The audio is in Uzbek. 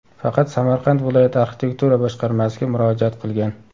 Faqat Samarqand viloyat arxitektura boshqarmasiga murojaat qilgan.